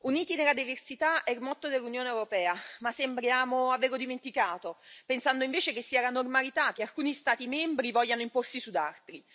Signor Presidente, onorevoli colleghi, Uniti nella diversità è il motto dell'Unione europea, ma sembriamo averlo dimenticato, pensando invece che sia la normalità che alcuni Stati membri vogliano imporsi su altri.